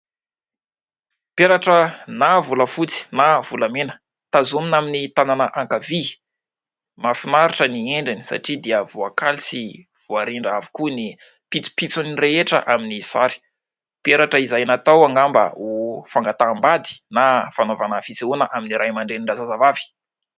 Peratra volafotsy na volamena tazomina amin'ny tanana ankavia, mafinaritra ny endriny satria dia voakaly sy voarindra avokoa ny pitsopitsony rehetra amin'ny sary. Peratra izay natao angamba ho fangataham-bady na fanaovana fisehoana amin'ny Ray aman-drenin-drazazavavy.